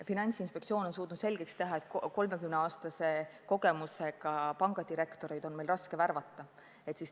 Finantsinspektsioon on suutnud meile selgeks teha, et 30-aastase kogemusega pangadirektoreid on meil raske värvata.